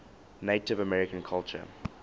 native american culture